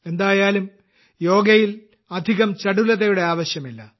എന്തായാലും യോഗയിൽ അധികം ചടുലതയുടെ ആവശ്യമില്ല